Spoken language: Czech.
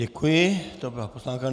Děkuji, to byla poznámka.